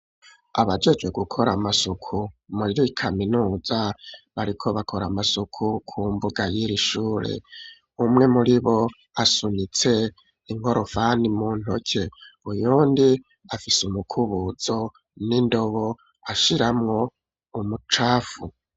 Abajejwe gukora amasuku muri kaminuza bariko bakora amasuku ku mbuga y'irishure umwe muri bo asunitse inkorofani mu ntoke uyundi afise umukubuzo n'indobo ashiramwo umucafu.